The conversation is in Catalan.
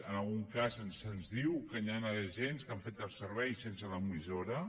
en algun cas se’ns diu que hi ha agents que han fet el servei sense l’emissora